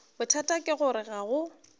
bothata ke gore ga go